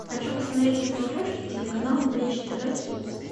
хочу посмотреть на смотрешке телеканал бридж тв хитс